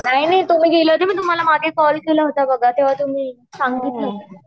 नाही नाही तुम्ही गेल्या कि मी तुम्हाला मागे कॉल केला होता बघा. तेव्हा तुम्ही सांगत होत्या.